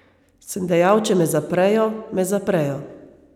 Sem dejal, če me zaprejo, me zaprejo.